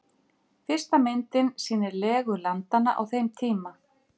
Fyrsta myndin sýnir legu landanna á þeim tíma.